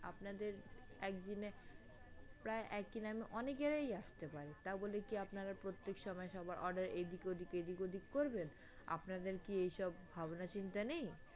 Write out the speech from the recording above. আপনাদের একদিনে প্রায় একই নামে অনেক ইয়েই আসতে পারে তা বলে কি আপনারা প্রত্যেক সময় সবার order এদিক-ওদিক এদিক-ওদিক করবেন? আপনাদের কি এইসব ভাবনা-চিন্তা নেই?